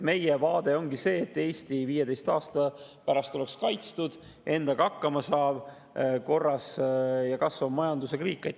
Meie vaade ongi see, et Eesti oleks 15 aasta pärast kaitstud, endaga hakkama saav, korras ja kasvava majandusega riik.